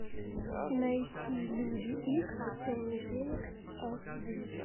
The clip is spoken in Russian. найти люди икс темный феникс аш ди